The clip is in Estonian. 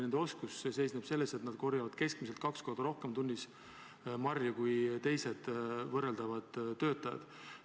Nende oskus seisneb selles, et nad korjavad keskmiselt kaks korda rohkem marju tunnis kui teised võrreldavad töötajad.